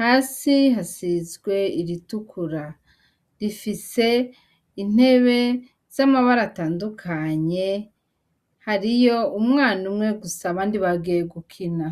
hasi hasizwe iritukura rifise intebe z'amabara atandukanye hariyo umwana umwe gusa abandi bagiye gukina.